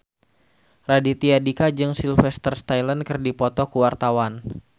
Raditya Dika jeung Sylvester Stallone keur dipoto ku wartawan